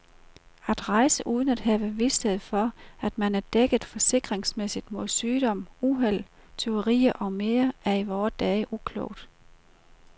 At rejse uden at have vished for, at man er dækket forsikringsmæssigt mod sygdom, uheld, tyverier med mere er i vore dage uklogt.